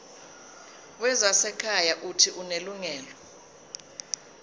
wezasekhaya uuthi unelungelo